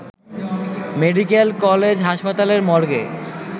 medical college হাসপাতালের মর্গে